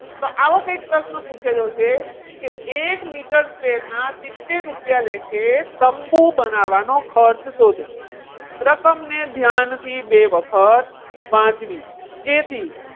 તો આવો કંઈક પ્રશ્ન પૂછેલો છે. કે એક મીટર square ના સિત્તેર રૂપિયા લેખે તંબુ બનાવવાનો ખર્ચ શોધો રકમની ધ્યાનથી બે વખત વાંચવી. જેથી,